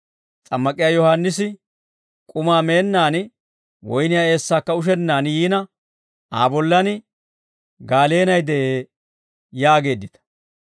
S'ammak'iyaa Yohaannisi k'umaa meennaan woyniyaa eessaakka ushennaan yiina, ‹Aa bollaan gaaleenay de'ee› yaageeddita.